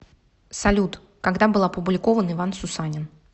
салют когда был опубликован иван сусанин